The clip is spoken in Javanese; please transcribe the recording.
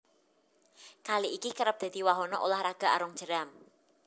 Kali iki kerep dadi wahana ulah raga arung jeram